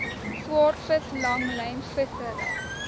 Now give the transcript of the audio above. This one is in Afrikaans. swaardvis langlyn vissery